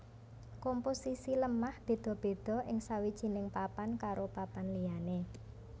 Komposisi lemah béda béda ing sawijining papan karo papan liyané